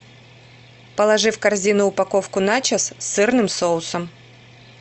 положи в корзину упаковку начос с сырным соусом